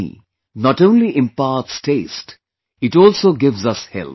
Honey, not only imparts taste ; it also gives us health